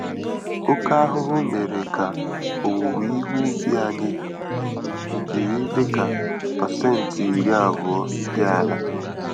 Oke ahụhụ mèrè ka owuwe ihe ubi anyị jiri Ihe dịka percent iri-abụọ dị àlà.